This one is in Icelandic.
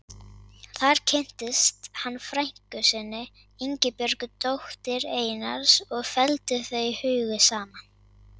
Þar kynntist hann frænku sinni, Ingibjörgu, dóttur Einars og felldu þau hugi saman.